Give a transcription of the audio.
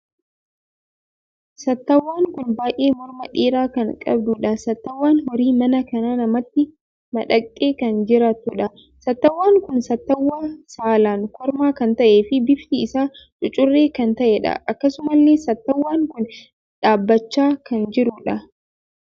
Sattawwaan kun baay'ee morma dheeraa kan qabuudha. sattawwaan horii manaa kan namatti madaqxe kan jiraattuudha. Sattawwaan kun sattawwaa saalaan kormaa kan ta`ee fi bifti isaa cucurree kan ta`eedha. akkasumallee sattawwaan kun dhaabbachaa kan jiruudha.